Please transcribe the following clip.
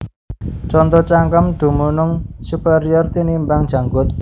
Conto Cangkem dumunung superior tinimbang janggut